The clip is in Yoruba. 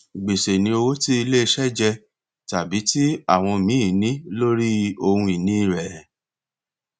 gbèsè ni owó tí iléiṣẹ jẹ tàbí tí àwọn míì ní lórí ohunini rẹ